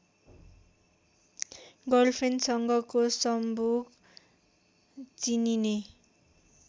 गर्लफ्रेन्डसँगको सम्भोग चिनिने